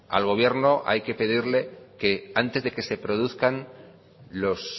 al gobierno hay que pedirle que antes de que se produzcan los